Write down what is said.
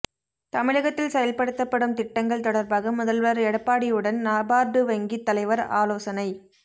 தமிழகத்தில் செயல்படுத்தப்படும் திட்டங்கள் தொடர்பாக முதல்வர் எடப்பாடியுடன் நபார்டு வங்கி தலைவர் ஆலோசனை